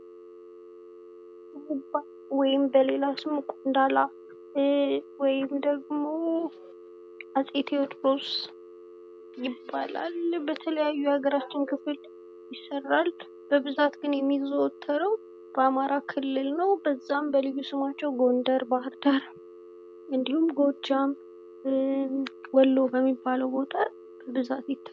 ወይም በሌላ ስሙ ቆንዳላ ወይም ደግሞ አጼ ቴዎድሮስ ይባላል የተለያዩ የሀገራችን ክፍሎች ይሰራል። በብዛት ግን የሚዘወተረው በአማራ ክልል ነው በዛም ልዩ ስማቸው ጎንደር ባህርዳር እንድሁም ጎጃም ወሎ በሚባለው ቦታ በብዛት ይታያል።